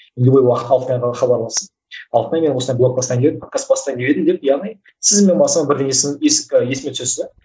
любой уақытта алтынайға хабарласып алтынай мен осылай блог бастайын деп едім подкаст бастайын деп едім деп яғни сіз менің басыма бірден есіме түсесіз де